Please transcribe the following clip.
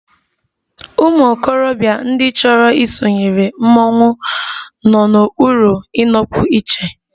Ụmụ okorobịa ndị chọrọ isonyere mmọnwụ nọ n'okpuru ịnọpụ iche